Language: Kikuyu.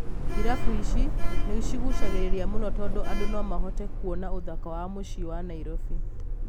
Irabu ici nĩcigucagĩrĩria mũno tondũ andũ nomahote kuona ũthaka wa mũciĩ wa Nairobi.